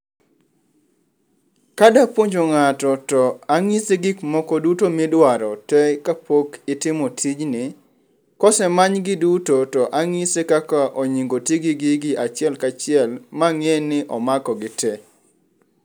Kadapuonjo ng'ato to ang'ise gik moko duto midwaro te kapok itimo tijni. Kose manygi duto to anyise kaka onyingo oti gi gigi achiel ka achiel ma ang'e ni omako gitee.